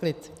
Klid.